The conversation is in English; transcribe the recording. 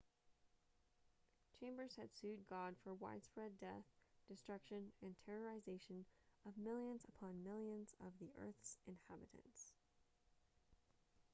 chambers had sued god for widespread death destruction and terrorization of millions upon millions of the earth's inhabitants